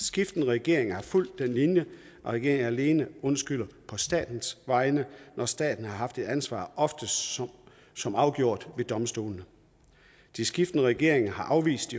skiftende regeringer har fulgt den linje og regeringen alene undskylder på statens vegne når staten har haft et ansvar oftest som som afgjort ved domstolene de skiftende regeringer har afvist